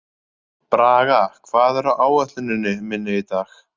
Braga, hvað er á áætluninni minni í dag?